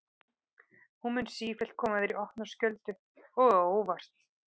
Hún mun sífellt koma þér í opna skjöldu og á óvart.